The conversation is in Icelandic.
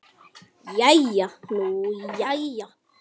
Jæja nú jæja.